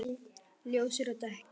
Ljósir og dökkir.